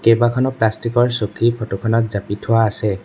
কেইবাখনো প্লাষ্টিকৰ চকী ফটোখনত জাপি থোৱা আছে।